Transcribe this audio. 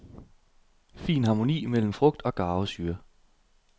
Fin harmoni mellem frugt og garvesyre.